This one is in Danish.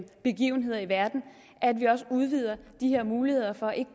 begivenheder i verden at vi også udvider de her muligheder for at